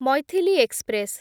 Maithili express